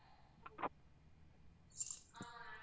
ஆமா ma'am